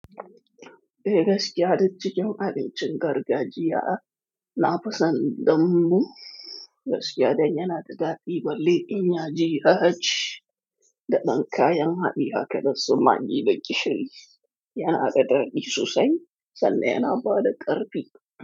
Eh, gaskiya, duk cikin abincin gargajiya na fison, dambu gaskiya dai yana da daɗi. Balle in ya je yaji da ɗan kayan haɗi haka dasu maggi da gishiri, yana da daɗi sosai sannan yana ba da ƙarfi.